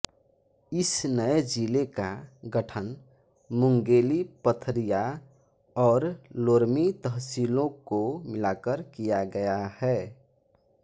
इस नये जिले का गठन मुंगेली पथरिया और लोरमी तहसीलों को मिलाकर किया गया है